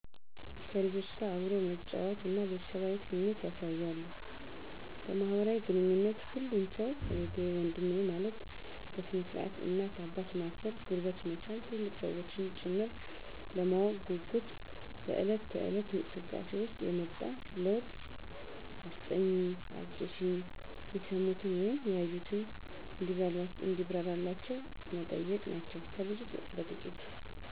ከልጆች ጋር አብሮ መጫወት እና ቤተሰባዊ ስሜት ያሣያሉ። በማህበራዊ ግንኙነት ሁሉን ሠው እህቴ ወንድሜ ማለት፤ በስነ-ስርዓት እናት አባት ማክበር ጉልበት መሣም ትልልቅ ሠዎችንም ጭምር፤ ለማወቅ ጉጉት (በለት ተለት)እንቅስቃሴ ውሰጥ የመጣ ለውጥ አስጠኝኝ፣ አስፅፊኝ፣ የሠሙትን ወይም ያዩትን እንዲብራራላቸው መጠየቅ ናቸው ከብዙ በጥቂት።